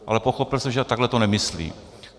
Ale pochopil jsem, že takhle to nemyslí.